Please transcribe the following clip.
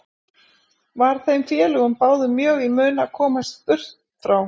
Var þeim félögum báðum mjög í mun að komast burt frá